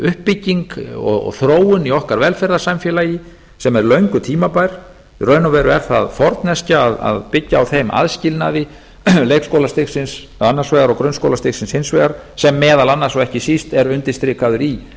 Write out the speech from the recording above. uppbygging og þróun í okkar velferðarsamfélagi sem er löngu tímabær í raun og veru er það forneskja að byggja á þeim aðskilnaði leikskólastigsins annars vegar og grunnskólastigsins hins vegar sem meðal annars og ekki síst er undirstrikaður í